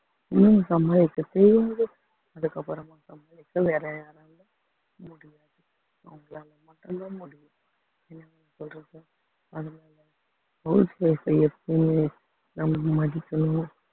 ஹம் house wife எப்பயும் நம்ம மதிக்கனும்